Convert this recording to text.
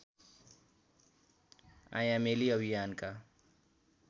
आयामेली अभियानका